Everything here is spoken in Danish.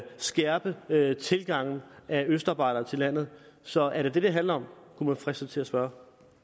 skærpe med tilgangen af østarbejdere til landet så er det det det handler om kunne man fristes til at spørge